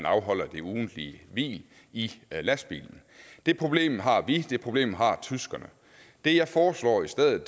afholder det ugentlige hvil i lastbilen det problem har vi det problem har tyskerne det jeg foreslår i stedet